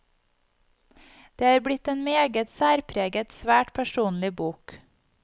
Det er blitt en meget særpreget, svært personlig bok.